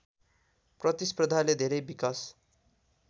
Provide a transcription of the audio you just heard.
प्रतिस्पर्धाले धेरै विकास